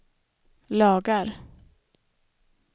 lagar